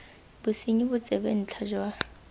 bosenyi bo tsebe ntlha jwa